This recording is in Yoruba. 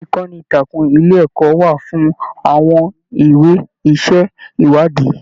Ìkànnì ìtàkùn ilé ẹkọ wà fún àwọn ìwé iṣẹ ìwádìí.